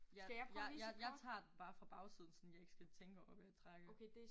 Ja jeg jeg jeg tager den bare fra bagsiden sådan jeg ikke skal tænke over hvad jeg trækker